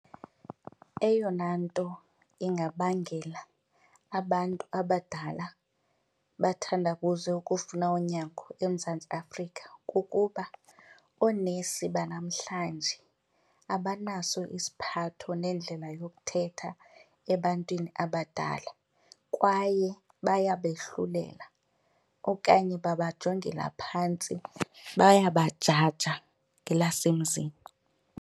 Eyona nto ingabangela abantu abadala bathandabuze ukufuna unyango eMzantsi Afrika kukuba oonesi banamhlanje abanaso isiphatho nendlela yokuthetha ebantwini abadala kwaye bayabehlulela okanye babajongile phantsi, bayabajaja ngelasemzini.